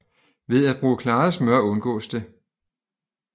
Ved at bruge klaret smør undgås det